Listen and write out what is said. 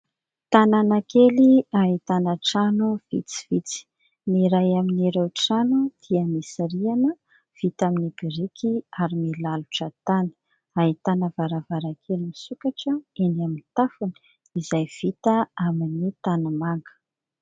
Tanàna kely ahitana trano vitsivitsy, ny iray amin'ireo trano dia misy rihana vita amin'ny biriky ary milalotra tany. Ahitana varavarankely misokatra eny amin'ny tafony izay vita amin'ny tanimanga.